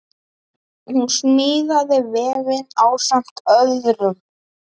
Hún smíðaði vefinn ásamt öðrum.